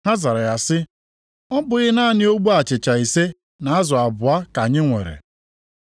Ha zara ya sị, “Ọ bụ naanị ogbe achịcha ise na azụ abụọ ka anyị nwere.”